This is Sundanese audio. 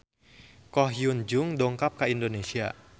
Ko Hyun Jung dongkap ka Indonesia